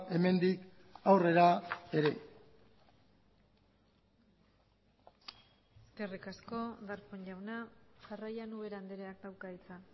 hemendik aurrera ere eskerrik asko darpón jauna jarraian ubera andreak dauka hitza